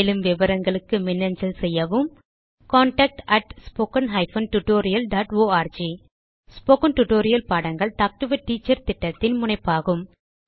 மேலும் விவரங்களுக்கு மின்னஞ்சல் செய்யவும் contactspoken tutorialorg ஸ்போகன் டுடோரியல் பாடங்கள் டாக் டு எ டீச்சர் திட்டத்தின் முனைப்பாகும்